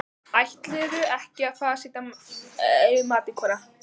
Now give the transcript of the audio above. Ætlarðu ekki að fara að setja yfir matinn, kona?